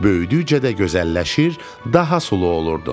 Böyüdükcə də gözəlləşir, daha sulu olurdum.